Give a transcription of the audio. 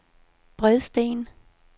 Bredsten